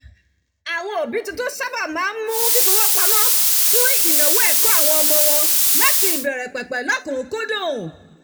àwọn òbí tuntun sáábà máa ń mú fífowó pamọ́ fún ìnáwó ẹ̀kọ́ àwọn ọmọ wọn láti ìbẹ̀rẹ̀pẹ̀pẹ̀ lọ́kùn-unkúndùn